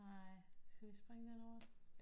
Nej skal vi springe den over